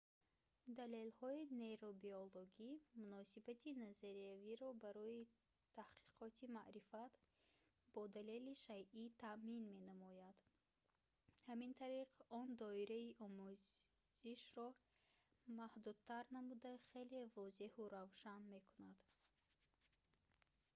далелҳои нейробиологӣ муносибати назариявиро барои таҳқиқоти маърифат бо далели шайъӣ таъмин менамояд ҳамин тариқ он доираи омӯзишро маҳдудтар намуда хеле возеҳу равшан мекунад